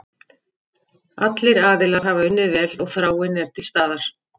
Allir aðilar hafa unnið vel og þráin er til staðar.